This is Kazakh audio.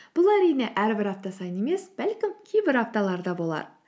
бұл әрине әрбір апта сайын емес бәлкім кейбір апталарда болар